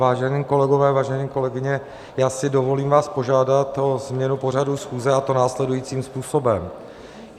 Vážení kolegové, vážené kolegyně, já si dovolím vás požádat o změnu pořadu schůze, a to následujícím způsobem.